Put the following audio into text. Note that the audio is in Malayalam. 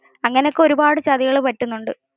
അങ്ങനെ ഒക്കെ ഒരുപാടു ചതികൾ പറ്റുന്നുണ്ട്